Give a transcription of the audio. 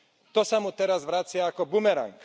To sa mu teraz vracia ako bumerang.